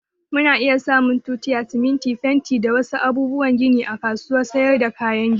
Mu na iya samun tutiya, siminti, fenti da wa su abubuwan gini a kasuwar sayar da kayan gini